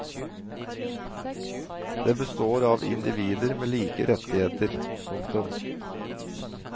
Det består av individer med like rettigheter. punktum